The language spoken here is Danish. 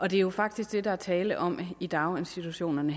jo faktisk det der er tale om i daginstitutionerne